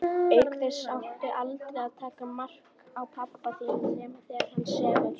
Auk þess áttu aldrei að taka mark á pabba þínum nema þegar hann sefur.